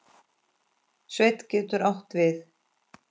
Sveinn getur átt við